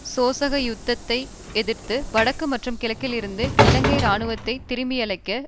சோசக யுத்தத்தை எதிர்த்து வடக்கு மற்றும் கிழக்கில் இருந்து இலங்கை இராணுவத்தை திருப்பியழைக்க